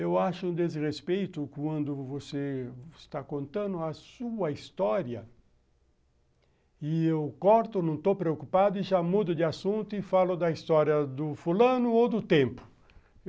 Eu acho um desrespeito quando você está contando a sua história e eu corto, não estou preocupado e já mudo de assunto e falo da história do fulano ou do tempo.